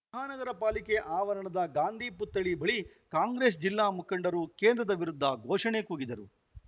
ಮಹಾನಗರ ಪಾಲಿಕೆ ಆವರಣದ ಗಾಂಧಿ ಪುತ್ಥಳಿ ಬಳಿ ಕಾಂಗ್ರೆಸ್‌ ಜಿಲ್ಲಾ ಮುಖಂಡರು ಕೇಂದ್ರದ ವಿರುದ್ಧ ಘೋಷಣೆ ಕೂಗಿದರು